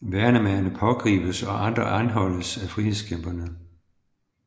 Værnemagere pågribes og andre anholdes af frihedskæmpere